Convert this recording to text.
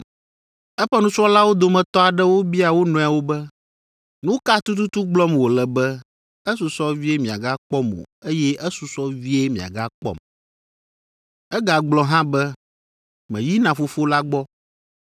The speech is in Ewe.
Eƒe nusrɔ̃lawo dometɔ aɖewo bia wo nɔewo be, “Nu ka tututu gblɔm wòle be, ‘Esusɔ vie miagakpɔm o eye esusɔ vie miagakpɔm.’ Egagblɔ hã be, ‘Meyina Fofo la gbɔ.’